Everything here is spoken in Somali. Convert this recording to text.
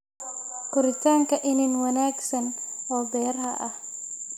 Koritaanka iniin wanaagsan oo beeraha ah.